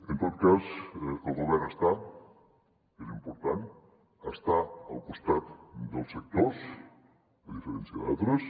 en tot cas el govern està és important al costat dels sectors a diferència d’altres